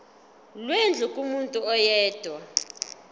lwendlu kumuntu oyedwa